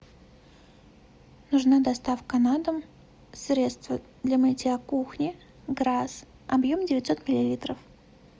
нужна доставка на дом средство для мытья кухни грас объем девятьсот миллилитров